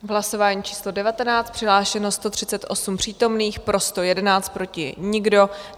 V hlasování číslo 19 přihlášeno 138 přítomných, pro 111, proti nikdo.